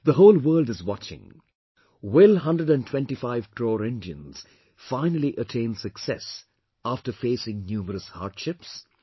The whole world is watching will hundred and twentyfive crore Indians finally attain success after facing numerous hardships